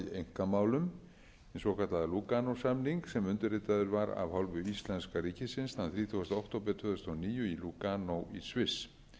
einkamálum hinn svokallaða lúganósamning sem undirritaður var af hálfu íslenska ríkisins þann þrítugasta október tvö þúsund og níu í lúganó í sviss